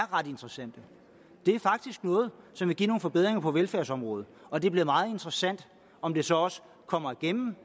ret interessante det er faktisk noget som vil give nogle forbedringer på velfærdsområdet og det bliver meget interessant om de så også kommer igennem